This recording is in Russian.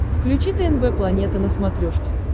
включи тнв планета на смотрешке